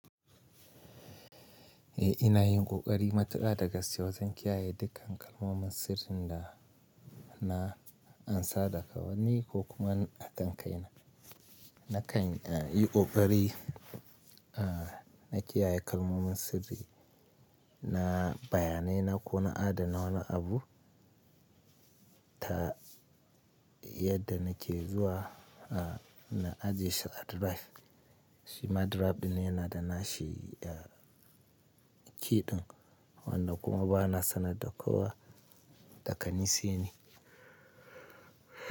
Eh, ina yin ƙoƙari matuƙa daga sayi wajen kiyaye dukkan kalmomin sirrin da, na ansa daga wani ko kuma a kan kai na. Na kan yi ƙoƙari na kiyaye kalmomin sirri na bayanai na ko na adana wani abu ta yadda nake zuwa na ajiye shi a drive. Shi ma drive ɗin yana da nashi, key ɗan wannan kuma ba na sanar da kowa, da gani sai ni.